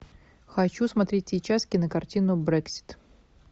хочу смотреть сейчас кинокартину брексит